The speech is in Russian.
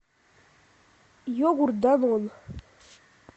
йогурт данон